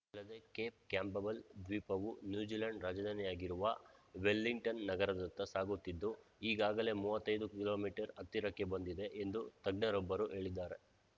ಅಲ್ಲದೆ Cape Campbell ದ್ವೀಪವು New Zealand ರಾಜಧಾನಿಯಾಗಿರುವ ವೆಲ್ಲಿಂಗ್ಟನ್‌ ನಗರದತ್ತ ಸಾಗುತ್ತಿದ್ದು ಈಗಾಗಲೇ ಮೂವತ್ತೈದು ಕಿಲೋ ಮೀಟರ್ ಹತ್ತಿರಕ್ಕೆ ಬಂದಿದೆ ಎಂದು ತಜ್ಞರೊಬ್ಬರು ಹೇಳಿದ್ದಾರೆ